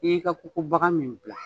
I y'i ka Kokobaga min dilan.